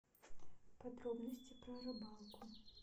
подробности про рыбалку